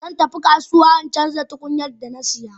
Zan tafi kasuwa in canza tukunyar da na saya.